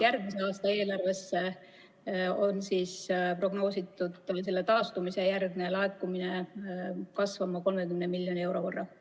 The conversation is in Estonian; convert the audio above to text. Järgmise aasta eelarves on prognoositud selle taastumise järgne laekumine kasvama 30 miljoni euro võrra.